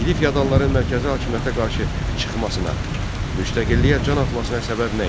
İli fəodalların mərkəzi hakimiyyətə qarşı çıxmasına, müstəqilliyə can atmasına səbəb nə idi?